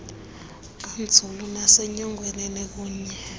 anzulu nasenyongweni nikunye